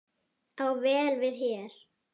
á vel við hér.